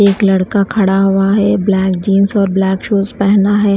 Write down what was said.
एक लड़का खड़ा हुआ है ब्लैक जींस और ब्लैक शूज पहना है।